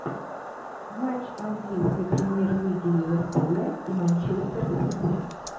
матч английской премьер лиги ливерпуля и манчестер сити